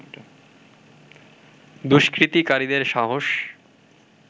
দুস্কৃতিকারীদের সাহস